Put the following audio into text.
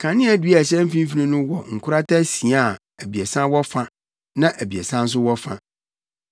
Kaneadua a ɛhyɛ mfimfini no wɔ nkorata asia a abiɛsa wɔ fa na abiɛsa nso wɔ fa.